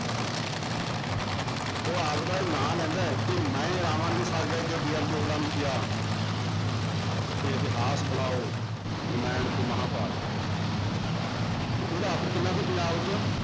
ਉਹ ਆਪਦਾ ਉਹ ਨਾਂ ਲੈਂਦਾ ਹੈ ਕਿ ਮੈਂ ਰਾਮਾਨੁਜ ਸ਼ਾਗਰ ਤੇ ਚੌਪੜਾ ਨੂੰ ਕਿਹਾ ਕਿ ਇਤਿਹਾਸ ਬਣਾਓ ਰਮਾਇਣ ਤੇ ਮਹਾਂਭਾਰਤ ਤੇ ਉਹਦਾ ਅਸਰ ਕਿੰਨਾ ਸੀ ਪੰਜਾਬ 'ਚ